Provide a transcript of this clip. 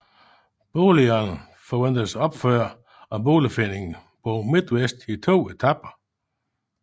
Boligerne forventes opført af Boligforeningen Bomidtvest i to etaper